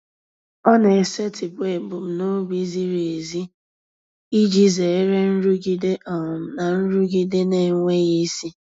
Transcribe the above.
Ọ na-esetịpụ ebumnobi ziri ezi iji zere nrụgide um na nrụgide na-enweghị isi.